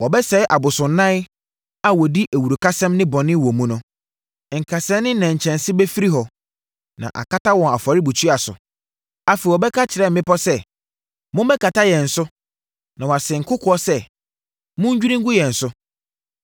Wɔbɛsɛe abosonnan a wɔdi awurukasɛm ne bɔne wɔ mu no. Nkasɛɛ ne nnɛnkyɛnse bɛfifiri hɔ, na akata wɔn afɔrebukyia so. Afei wɔbɛka akyerɛ mmepɔ sɛ, “Mommɛkata yɛn so!” na wase nkokoɔ sɛ, “Monnwiri ngu yɛn so!”